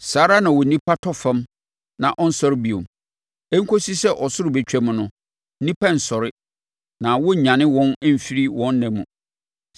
saa ara na onipa tɔ fam na ɔnsɔre bio; ɛnkɔsi sɛ ɔsoro bɛtwam no, nnipa rensɔre na wɔrennyane wɔn mfiri wɔn nna mu.